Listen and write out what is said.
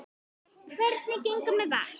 Hvernig gengur með Vask?